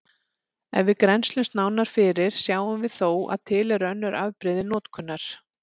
Ef við grennslumst nánar fyrir sjáum við þó að til eru önnur afbrigði notkunar.